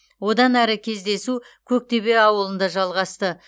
одан әрі кездесу көктөбе ауылында жалғасты